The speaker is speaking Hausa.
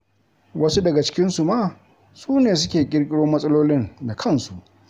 Wasu daga cikinsu ma su ne suke ƙirƙiro matsalolin da kansu.